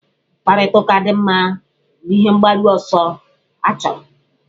Mkparịtaụka dị mma ruru ihe mgbaru ọsọ achọrọ.